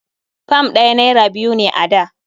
Fam ɗaya naira biyu ne a da.